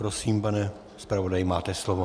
Prosím, pane zpravodaji, máte slovo.